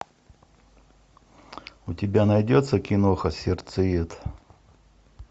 у тебя найдется киноха сердцеед